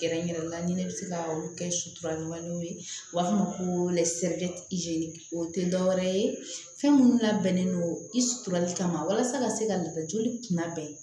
Kɛrɛnkɛrɛnnenya la ni ne bɛ se ka olu kɛ sutura ɲumanw ye u b'a fɔ ma ko o tɛ dɔwɛrɛ ye fɛn minnu labɛnnen don i suturali kama walasa ka se ka lada joli kunda